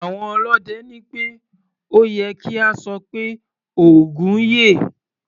Àwọn ọlọ́dẹ ní pé ó ye kí a sọ pé "Ògún yè".